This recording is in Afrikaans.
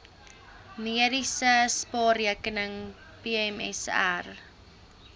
mediese spaarrekening pmsr